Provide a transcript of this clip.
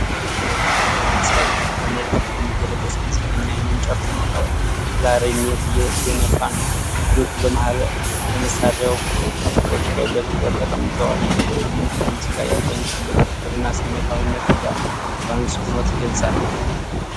በባህላዊ ልብስ ያጌጠ ነጭ ሸሚዝ የለበሰ ሙዚቀኛ ዓይኑን ጨፍኖ ክላሪኔት እየነፋ ነው። እጆቹ በመሣሪያው ቁልፎች ላይ በትኩረት ተቀምጠዋል። ይህ ትዕይንት ለሙዚቃ ያለውን ጥልቅ ፍቅርና ስሜታዊነትን በአጽንዖት ይገልጻል።